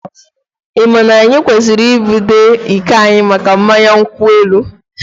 Ị ma na anyị kwesịrị ibute iko anyị maka mmanya nkwu elu?